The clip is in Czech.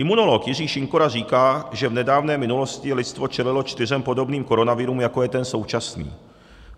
Imunolog Jiří Šinkora říká, že v nedávné minulosti lidstvo čelilo čtyřem podobným koronavirům, jako je ten současný.